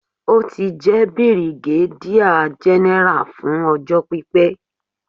Ó ti jẹ́ bìrìgádíà gẹ́nẹ́rà fún ọjọ́ pípé.